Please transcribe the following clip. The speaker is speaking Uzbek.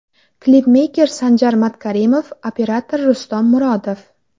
Klipmeyker Sanjar Matkarimov, operator Rustam Murodov.